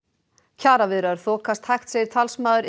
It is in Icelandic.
kjaraviðræður þokast hægt segir talsmaður